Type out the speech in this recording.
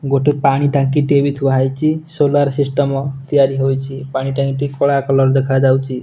ଗୋଟେ ପାଣି ଟାଙ୍କି ଟିଏ ବି ଥୁଆ ହେଇଚି ସୋଲାର ସିଷ୍ଟମ ତିଆରି ହୋଇଚି ପାଣି ଟାଙ୍କିଟି କଳା କଲର ଦେଖାଯାଉଛି।